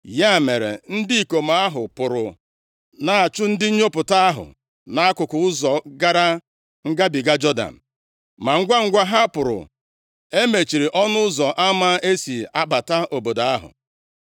Ya mere, ndị ikom ahụ pụrụ na-achụ ndị nnyopụta ahụ nʼakụkụ ụzọ gara ngabiga Jọdan. Ma ngwangwa ha pụrụ, e mechiri ọnụ ụzọ ama e si abata obodo ahụ.